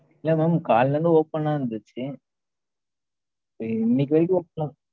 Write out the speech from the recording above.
இல்ல madam காலைலேந்து open ல தான் இருந்துச்சு